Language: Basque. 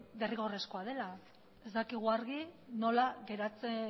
derrigorrezkoa dela ez dakigu argi nola